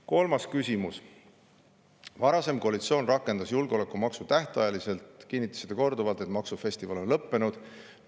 Kolmas küsimus: "Varasem koalitsioon rakendas julgeolekumaksu tähtajaliselt ning kinnitasite korduvalt, et "maksufestival" on lõppenud.